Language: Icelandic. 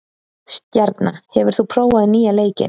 Stjarna, hefur þú prófað nýja leikinn?